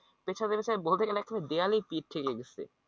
পেছাতে পেছাতে বলতে গেলে একটু দেয়ালে পিঠ ঠেকে গেছে